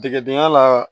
Degedendon ya la